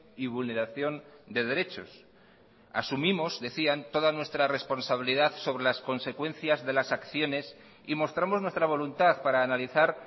y vulneración de derechos asumimos decían toda nuestra responsabilidad sobre las consecuencias de las acciones y mostramos nuestra voluntad para analizar